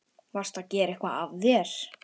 Varstu að gera eitthvað af þér?